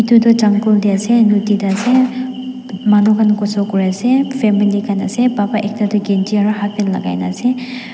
etu jungle tey ase node tey ase manu khan khusul kurease family khan ase papa ekta tu kenji aro half pant lakai kena ase.